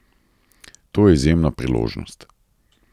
To je izjemna priložnost.